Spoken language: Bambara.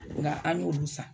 Nka an n'olu san.